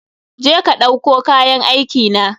Je ka ɗauko kayan aikina!